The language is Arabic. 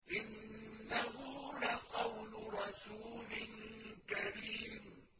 إِنَّهُ لَقَوْلُ رَسُولٍ كَرِيمٍ